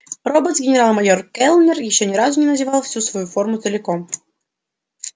роботс генерал-майор кэллнер ещё ни разу не надевал всю свою форму целиком